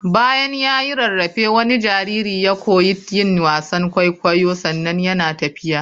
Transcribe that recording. Bayan ya yi rarrafe wani jariri ya koyi yin wasan kwaikwayo sannan yana tafiya.